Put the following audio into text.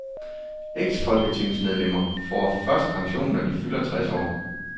Eksfolketingsmedlemmer får først pension, når de fylder tres år.